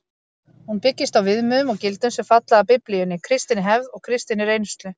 Hún byggist á viðmiðum og gildum sem falla að Biblíunni, kristinni hefð og kristinni reynslu.